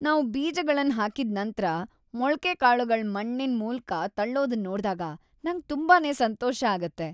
ನಾವ್ ಬೀಜಗಳನ್ ಹಾಕಿದ್ ನಂತ್ರ ಮೊಳ್ಕೆಕಾಳುಗಳ್ ಮಣ್ಣಿನ ಮೂಲ್ಕ ತಳ್ಳೊದನ್ ನೋಡ್ದಾಗ ನಂಗ್ ತುಂಬಾನೇ ಸಂತೋಷ ಆಗುತ್ತೆ.